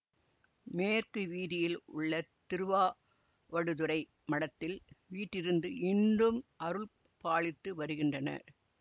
மேற்கு வீதியில் உள்ள திருவாவடுதுறை மடத்தில் வீற்றிருந்து இன்றும் அருள்பாலித்து வருகின்றார்